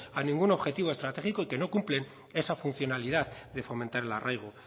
a ningún objetivo estratégico y que no cumplen esa funcionalidad de fomentar el arraigo